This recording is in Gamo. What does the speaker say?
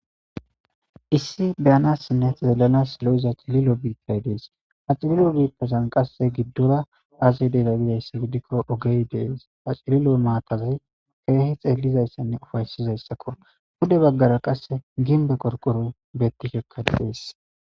issi beyanassinne zeelanas lo7iza acililo biiay dees acililo biippesan qasse giddora azedega bizayssa gidikko ogey dees acililo maatazi feehi xeellizayssanne ufaysizayssakko bude baggara qasse gimbe qorqoroy bettikekkadees